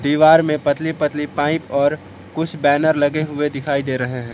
दीवार में पतली पतली पाइप और कुछ बैनर लगे हुए दिखाई दे रहे हैं।